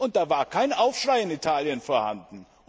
Und da war kein Aufschrei in Italien vorhanden!